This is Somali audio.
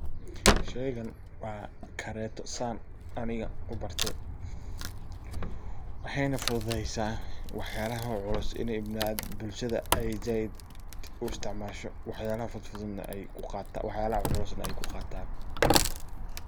Sheygan waa kareto san aniga u bartay. Waxayna fududesa wax yalaha culus iney bulshada zaid u isticmasho wax yalaha culusna ay ku qatan.